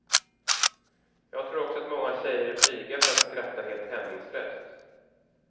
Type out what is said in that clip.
Jag tror också att många tjejer är blyga för att skratta helt hämningslöst.